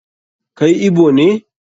Kai Igbo ne?